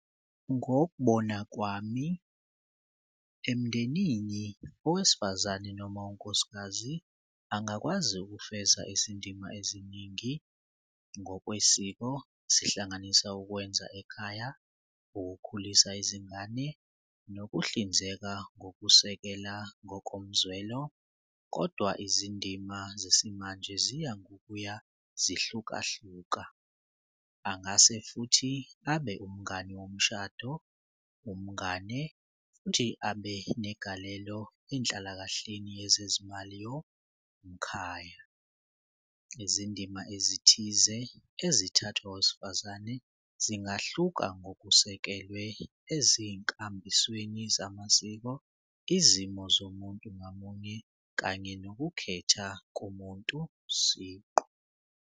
Ngokubona kwami emndenini okwesifazane noma unkosikazi angakwazi ukufeza izindima eziningi ngokwesiko sihlanganise ukwenza ekhaya, ukukhulisa izingane, nokuhlinzeka ngokusekela ngokomzwelo, kodwa izindima zesimanje ziya ngokuya ziyahlukahlukana. Angase futhi abe umngani womshado, umngane futhi abe negalelo enhlalakahleni yezezimali yomkhaya. Izindima ezithize ezithathwa owesifazane zingahluka ngokusekelwe ezinkambisweni zamasiko, izimo zomuntu ngamunye kanye nokukhetha komuntu siqu.